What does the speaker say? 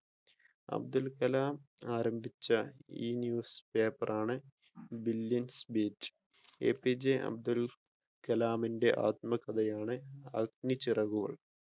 അബ്ദുൽ കലാം ആരംഭിച്ച ഇ-ന്യൂസ്‌പേപ്പർ ആണ് Billion Beats APJ Abdul കലാമിന്റെ ആത്മകഥയാണ് അഗ്നി ചിറകുകൾ.